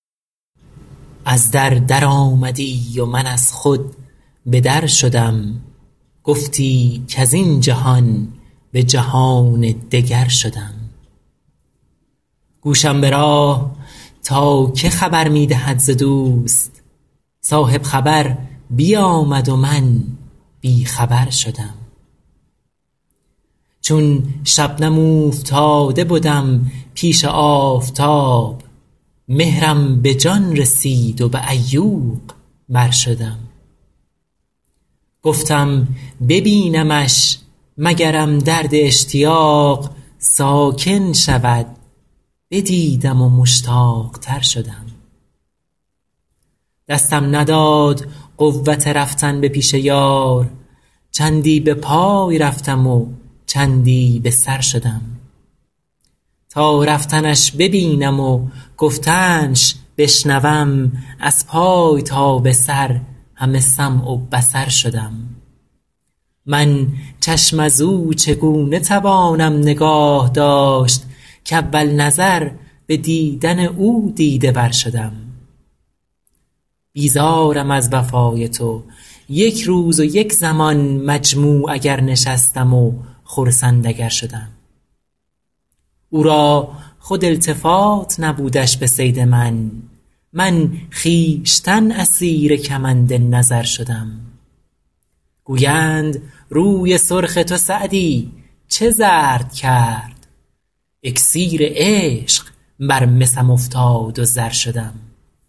از در درآمدی و من از خود به در شدم گفتی کز این جهان به جهان دگر شدم گوشم به راه تا که خبر می دهد ز دوست صاحب خبر بیامد و من بی خبر شدم چون شبنم اوفتاده بدم پیش آفتاب مهرم به جان رسید و به عیوق بر شدم گفتم ببینمش مگرم درد اشتیاق ساکن شود بدیدم و مشتاق تر شدم دستم نداد قوت رفتن به پیش یار چندی به پای رفتم و چندی به سر شدم تا رفتنش ببینم و گفتنش بشنوم از پای تا به سر همه سمع و بصر شدم من چشم از او چگونه توانم نگاه داشت کاول نظر به دیدن او دیده ور شدم بیزارم از وفای تو یک روز و یک زمان مجموع اگر نشستم و خرسند اگر شدم او را خود التفات نبودش به صید من من خویشتن اسیر کمند نظر شدم گویند روی سرخ تو سعدی چه زرد کرد اکسیر عشق بر مسم افتاد و زر شدم